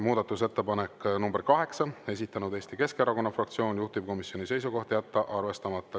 Muudatusettepanek nr 8, esitanud Eesti Keskerakonna fraktsioon, juhtivkomisjoni seisukoht on jätta arvestamata.